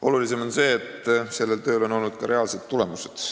Olulisem on see, et sellel tööl on olnud ka reaalsed tulemused.